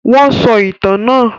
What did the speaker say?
Wọn sọ ìtàn náà?